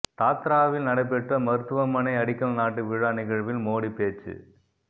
தாத்ராவில் நடைபெற்ற மருத்துவமனை அடிக்கல் நாட்டு விழா நிகழ்வில் மோடி பேச்சு